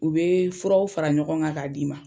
U bɛ furaw fara ɲɔgɔn kan k'a d'i ma.